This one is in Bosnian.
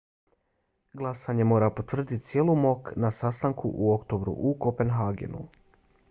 glasanje mora potvrditi cijeli mok na sastanku u oktobru u kopenhagenu